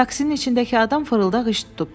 Taksinin içindəki adam fırıldaq iş tutub.